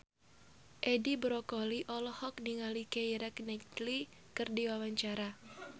Edi Brokoli olohok ningali Keira Knightley keur diwawancara